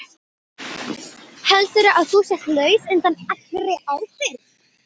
Heldurðu að þú sért laus undan allri ábyrgð?